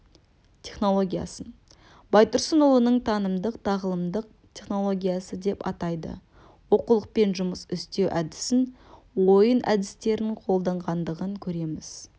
технологиясын байтұрсынұлының танымдық-тағылымдық технологиясы деп атады оқулықпен жұмыс істеу әдісін ойын әдістерін қолданғандығын көреміз